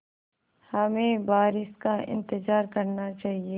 हमें बारिश का इंतज़ार करना चाहिए